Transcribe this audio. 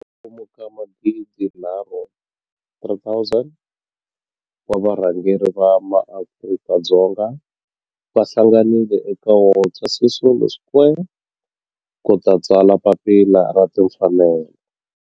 Kwalomu ka magidinharhu, 3 000, wa varhangeri va maAfrika-Dzonga va hlanganile eka Walter Sisulu Square ku ta tsala Papila ra Timfanelo.